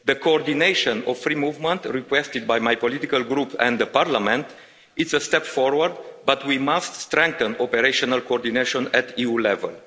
The coordination of free movement, requested by my political group and Parliament, is a step forward, but we must strengthen operational coordination at EU level.